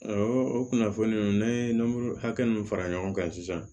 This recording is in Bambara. o kunnafoni ninnu ne ye nɔnɔmuru hakɛ min fara ɲɔgɔn kan sisan